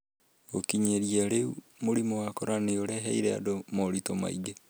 Gũkinyĩria rĩu, mũrimũ wa corona nĩ ũreheire andũ moritũ maingĩ.